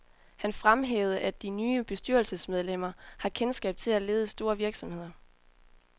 Han fremhævede, at de nye bestyrelsesmedlemmer har kendskab til at lede store virksomheder.